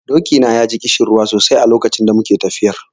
Doki na ya ji ƙishirwa sosai a lokacin da muke tafiyar.